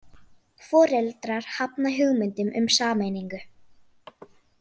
Foreldrar hafna hugmyndum um sameiningu